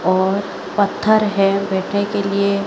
और पत्थर हैं बैठे के लिए--